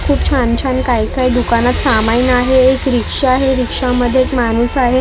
खूप छान छान काय काय दुकानात सामाईन आहे एक रिक्षा आहे रिक्षामध्ये एक माणूस आहे दोन माणसं --